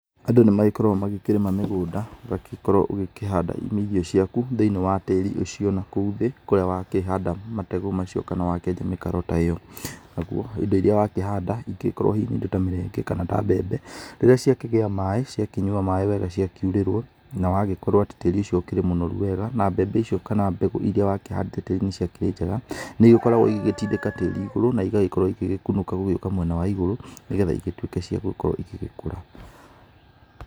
Andũ nĩ magĩkoragwo magĩkĩrĩma mĩgũnda ũgagĩkorwo ũgĩkĩhanda irio ciaku thĩinĩ wa tĩri ũcio nakũu thĩ kũrĩa wa kĩhanda mategũ macio kana wakĩenja mĩkaro ĩyo. Naguo indo iria wakĩhanda ingĩkorwo hihi nĩ indo ta mĩrenge kana ta mbembe rĩrĩa ciakĩgĩa maaĩ ciakĩnyua maaĩ wega ciakiurĩrwo, na wagĩkorwo atĩ tĩri ũcio ũkĩrĩ mũnoru wega na mbembe icio kana mbegu iria wakĩhandĩte nĩ ikĩrĩ njega. Nĩ ikoragwo igĩgĩtindĩka tĩri igũrũ na igagĩkorwo igĩkunũka gũgĩũka mwena wa igũrũ, nĩ getha igĩtuĩke cia gũgĩkorwo igĩkũra